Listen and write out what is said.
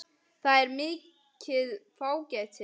Það er mikið fágæti.